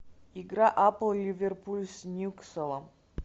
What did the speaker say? игра апл ливерпуль с ньюкаслом